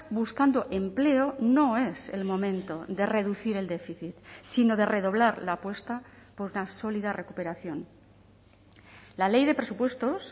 buscando empleo no es el momento de reducir el déficit sino de redoblar la apuesta por la sólida recuperación la ley de presupuestos